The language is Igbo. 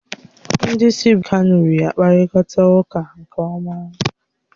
Ndị si Borọno na Yobe steeti na-eji kanuri akpakọrịta ụka nke ọma.